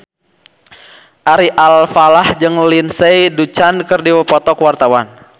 Ari Alfalah jeung Lindsay Ducan keur dipoto ku wartawan